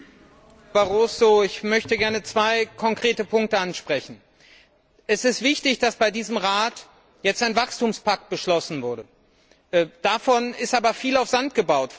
Herr Präsident, Herr Barroso! Ich möchte gerne zwei konkrete Punkte ansprechen Es ist wichtig, dass bei diesem Rat jetzt ein Wachstumspakt beschlossen wurde. Davon ist aber viel auf Sand gebaut.